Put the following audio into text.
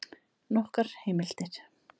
Nokkrar heimildir: